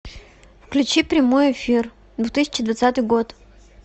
включи прямой эфир две тысячи двадцатый год